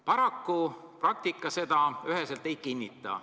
Paraku praktika seda üheselt ei kinnita.